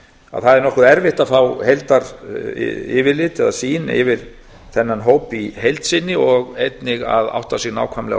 að það er nokkuð erfitt að fá heildaryfirlit eða sýn yfir þennan hóp í heild sinni og einnig að átta sig nákvæmlega á